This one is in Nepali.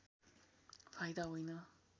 फाइदा होइन